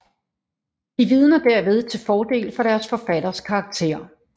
De vidner derved til fordel for deres forfatters karakter